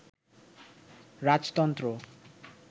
রাজতন্ত্র